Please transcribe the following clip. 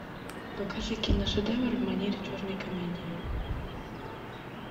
покажи киношедевр в манере черной комедии